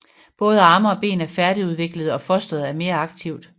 Både arme og ben er færdigudviklede og fosteret er mere aktivt